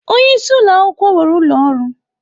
Onye isi ụlọ akwụkwọ nwere ụlọ ọrụ.